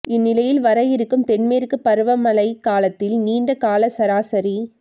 இந்நிலையில் வர இருக்கும் தென்மேற்கு பருவமழைக் காலத்தில் நீண்ட கால சராசரி